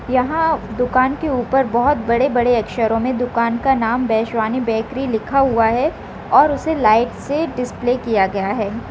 यहाँ दुकान के ऊपर बहुत बडे बडे अक्षरों में दुकान का नाम वैश्वानि बेकरी लिखा हुआ है और उसे लाइट से डिस्प्ले किया गया है।